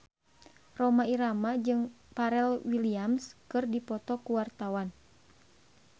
Rhoma Irama jeung Pharrell Williams keur dipoto ku wartawan